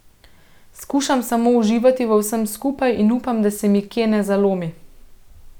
Skušam samo uživati v vsem skupaj in upam, da se mi kje ne zalomi.